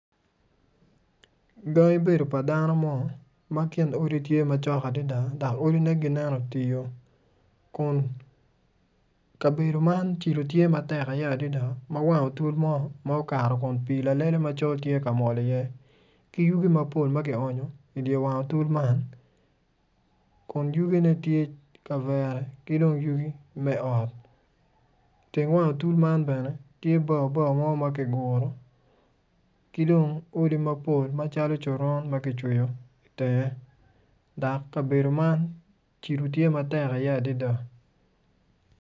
Gangi bedo pa dano mo ma kin odi tye macok adada dok odine ginen otio kun kabedo man cilo tye iye matek adada ma wang otul mo ma okato kun pii lalele macol tye ka mol iye kji yugi mapol ma kionyo idye wang otul man kun yugine tye kavere ki dong yugi me ot iteng wang otul man bene tye bao bao ma kiguro ki dong odi mapol macalo coron ma kicweyo itenge dok kabedo man cilo tye matek iye adada.